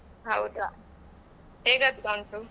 ಹೌದಾ ಹೇಗೆ ಆಗ್ತಾ ಉಂಟು?